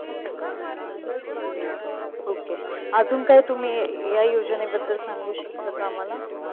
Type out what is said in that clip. Okay. अजून काय तुम्ही अं या योजनेबद्दल सांगू शकता आम्हाला?